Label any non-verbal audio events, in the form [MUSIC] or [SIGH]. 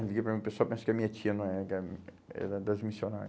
Liguei para mim, o pessoal pensa que a minha tia não é, que ela [UNINTELLIGIBLE] é da das missionária.